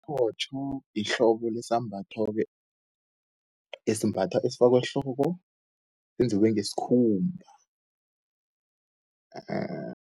Iphothu yihlobo lesambatho-ke, esibathwa usifake ehloko yenziwe ngeskhumba